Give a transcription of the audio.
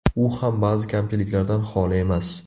U ham ba’zi kamchiliklardan xoli emas.